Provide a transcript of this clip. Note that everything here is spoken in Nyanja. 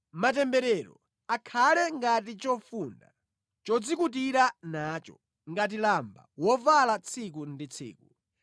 Matemberero akhale ngati chofunda chodzikutira nacho, ngati lamba wovala tsiku ndi tsiku.